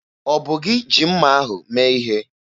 Ọ bụ gị ji mma ahụ mee ihe?